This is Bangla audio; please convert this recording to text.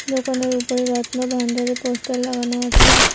দোকানের উপরে রত্ন ভান্ডারের পোস্টার লাগানো আছে।